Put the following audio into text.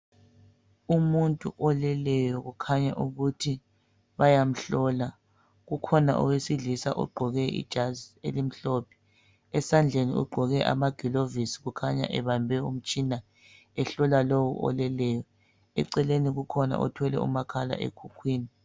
Umuntu oleleyo kukhanya ukuthi bayamhlola .Kukhona owesilisa egqoke ijazi elimhlophe. Esandleni ugqoke amagilovisi ukhanya ebambe umtshina ehlola lowo oleleyo. Eceleni kukhona othwele umakhala ekhukhwini.